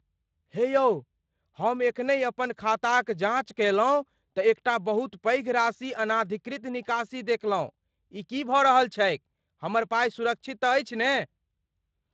हे यौ, हम एखनहि अपन खाताक जाँच कयलहुँ तँ एकटा बहुत पैघ राशि अनधिकृत निकासी देखलहुँ। ई की भऽ रहल छैक? हमर पाइ सुरक्षित तँ अछि ने?